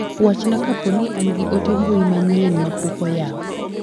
Wachna ka poni an gi ote mbui manyien mapok oyaw.